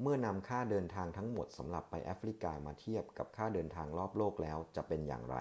เมื่อนำค่าเดินทางทั้งหมดสำหรับไปแอฟริกามาเทียบกับค่าเดินทางรอบโลกแล้วจะเป็นอย่างไร